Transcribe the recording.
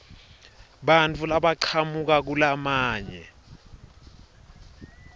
bantfu labachamuka kulamanye